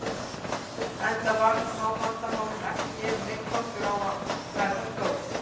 Enda var smávandamálum ekki gefinn neinn kostur á að verða stór.